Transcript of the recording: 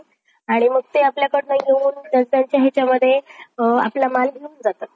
आणि मग ते आपल्याकडनं येऊन आपला माल घेऊन जातात.